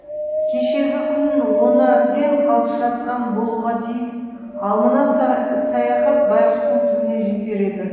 кешегі күн оны әбден қалжыратқан болуға тиіс ал мына саяхат байғұстың түбіне жетер еді